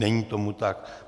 Není tomu tak.